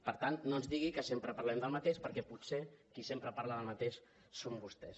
per tant no ens digui que sempre parlem del mateix perquè potser qui sempre parla del mateix són vostès